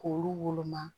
K'olu woloma